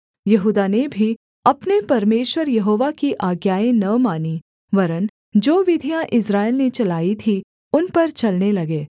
यहूदा ने भी अपने परमेश्वर यहोवा की आज्ञाएँ न मानीं वरन् जो विधियाँ इस्राएल ने चलाई थीं उन पर चलने लगे